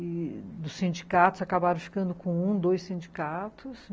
e dos sindicatos acabaram ficando com um, dois sindicatos.